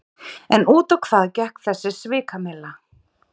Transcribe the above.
En út á hvað gekk þessi svikamylla?